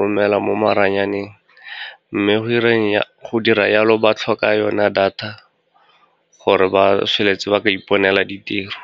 romela mo maranyaneng. Mme go dira jalo, ba tlhoka yona data gore ba tsholetse ba ka iponela ditiro.